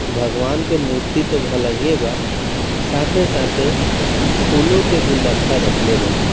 भगवान के मूर्ति थी भलाइए बा साथै-साथै फूलों के गुलदस्ता रखले बा।